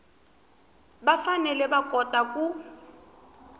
va fanele va kota ku